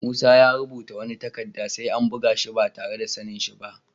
Musa ya rubuta wani takadda sai an buga shi ba tarre da sani'n shi ba.